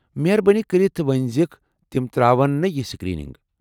مہربٲنی کٔرِتھ ؤنِزیٚكھ تِم تراون نہٕ یہِ سکرینِگ ۔